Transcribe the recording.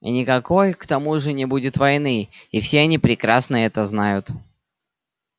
и никакой к тому же не будет войны и все они прекрасно это знают